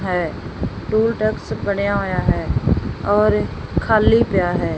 ਹੈ toll tax ਬਣਿਆ ਹੋਇਆ ਹੈ ਔਰ ਖਾਲੀ ਪਿਆ ਹੈ।